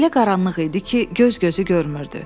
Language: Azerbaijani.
Elə qaranlıq idi ki, göz gözü görmürdü.